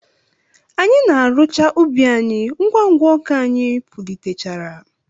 Anyị na arụcha ubi any ngwa ngwa ọka anyị pulitechara.